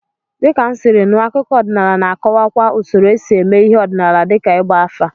Dịka m siri nụ, akụkọ ọdịnala na-akọwakwa usoro esi eme ihe ọdịnala dịka ịgba afa.